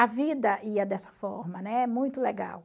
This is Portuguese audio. A vida ia dessa forma, né, muito legal.